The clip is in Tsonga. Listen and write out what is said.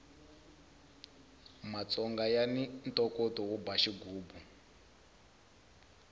matsonga yani ntokoto wo ba xigubu